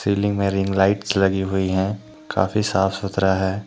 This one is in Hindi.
सीलिंग में रिंग लाइट्स लगी हुई हैं काफी साफ सुथरा है।